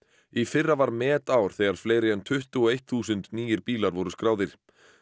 í fyrra var metár þegar fleiri en tuttugu og eitt þúsund nýir bílar voru skráðir